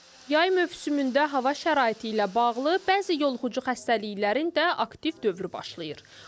Yay mövsümündə hava şəraiti ilə bağlı bəzi yoluxucu xəstəliklərin də aktiv dövrü başlayır.